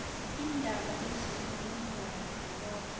iindaba ezimalungana nalokho